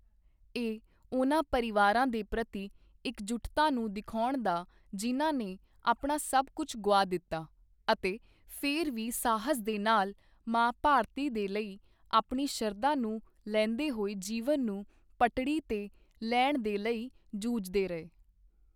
ਇਹ ਉਨ੍ਹਾਂ ਪਰਿਵਾਰਾਂ ਦੇ ਪ੍ਰਤੀ ਇਕਜੁੱਟਤਾ ਨੂੰ ਦਿਖਾਉਣ ਦਾ ਜਿਨ੍ਹਾਂ ਨੇ ਆਪਣਾ ਸਭ ਕੁਝ ਗੁਆ ਦਿੱਤਾ ਅਤੇ ਫਿਰ ਵੀ ਸਾਹਸ ਦੇ ਨਾਲ ਮਾਂ ਭਾਰਤੀ ਦੇ ਲਈ ਆਪਣੀ ਸ਼ਰਧਾ ਨੂੰ ਲੈਂਦੇ ਹੋਏ ਜੀਵਨ ਨੂੰ ਪਟਰੀ ਤੇ ਲੈਣ ਦੇ ਲਈ ਜੂਝਦੇ ਰਹੇ।